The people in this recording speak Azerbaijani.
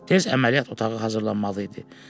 Tez əməliyyat otağı hazırlanmalı idi.